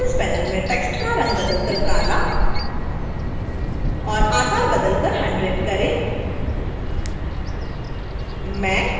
parameters panel में text का रंग बदल कर काला और आकार बदल कर 100 करें